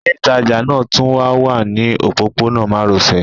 Ilé ìtajà náà tún wá wà ní òpópónà márosẹ̀